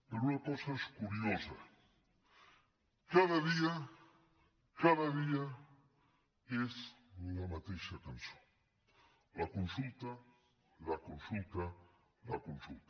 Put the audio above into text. però una cosa és curiosa cada dia cada dia és la mateixa cançó la consulta la consulta la consulta